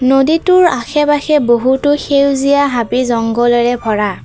নদীটোৰ আশে পাশে বহুতো সেউজীয়া হাবি জংগলৰে ভৰা।